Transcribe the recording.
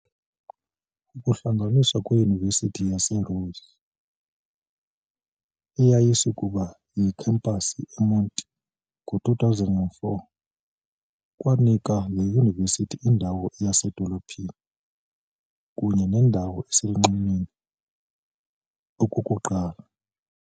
Ukuhlanganiswa kweYunivesithi yaseRhodes eyayisakuba yikhampasi eMonti ngo2004 kwanika le yunivesithi indawo yasedolophini kunye nendawo engaselunxwemeni okokuqala.